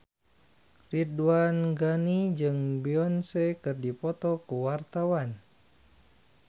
Ridwan Ghani jeung Beyonce keur dipoto ku wartawan